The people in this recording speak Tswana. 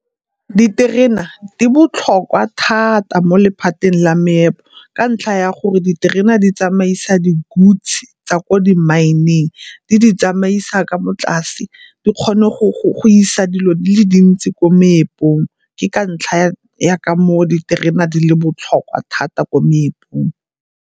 Diterena di botlhokwa thata mo lephateng la meepo ka ntlha ya gore diterena di tsamaisa di-goods tsa ko di-mine-eng, di di tsamaisa ka mo tlase. Di kgone go isa dilo di le dintsi ko meepong, ke ka ntlha ya ka moo diterena di le botlhokwa thata ko meepong.